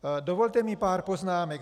Dovolte mi pár poznámek.